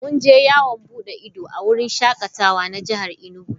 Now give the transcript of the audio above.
Mun je yawon bude ido a wurin shakatawa na jihar Enugu.